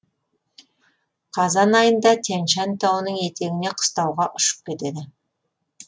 қазан айында тянь шань тауының етегіне қыстауға ұшып кетеді